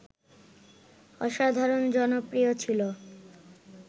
অসাধারণ জনপ্রিয় ছিল